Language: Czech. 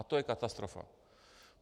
A to je katastrofa.